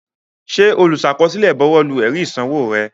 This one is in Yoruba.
Ǹjẹ́ olùsàkọsílẹ̀ buwọ́lu ẹ̀rí ìsanwó rẹ?